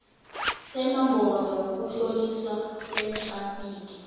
senomboro yokutloliswa kwethrafigi